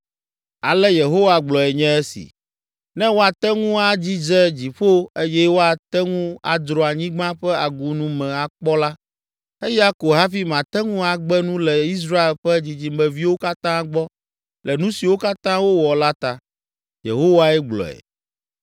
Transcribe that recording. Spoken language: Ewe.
Ale Yehowa gblɔe nye esi: “Ne woate ŋu adzidze dziƒo eye woate ŋu adzro anyigba ƒe agunu me akpɔ la, eya ko hafi mate ŋu agbe nu le Israel ƒe dzidzimeviwo katã gbɔ le nu siwo katã wowɔ la ta.” Yehowae gblɔe.